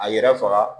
A yɛrɛ faga